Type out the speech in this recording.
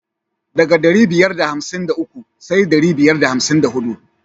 Ɗaga da ɗari biyar da hamsin da uku sai dari biyar da hamsin da huɗu.